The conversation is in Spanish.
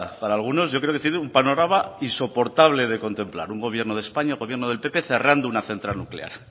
para algunos yo creo que tiene un panorama insoportable de contemplar un gobierno de españa un gobierno del pp cerrando una central nuclear